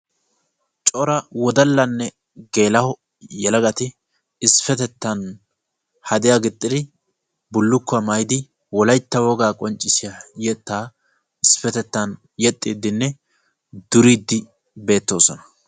corra wodallane geela"o naati hadiyane bulukuwaa maayidi wolaytta wogaa yexidine duridi beettosona.